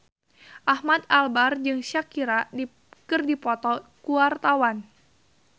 Ahmad Albar jeung Shakira keur dipoto ku wartawan